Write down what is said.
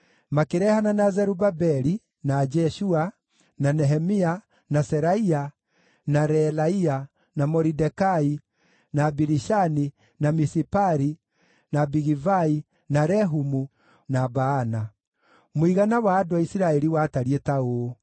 makĩrehana na Zerubabeli, na Jeshua, na Nehemia, na Seraia, na Reelaia, na Moridekai, na Bilishani, na Misipari, na Bigivai, na Rehumu, na Baana): Mũigana wa andũ a Isiraeli watariĩ ta ũũ: